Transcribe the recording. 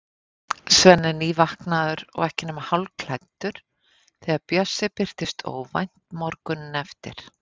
Svenni er nývaknaður og ekki nema hálfklæddur þegar Bjössi birtist óvænt morguninn eftir.